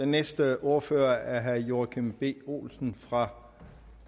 næste ordfører er herre joachim b olsen fra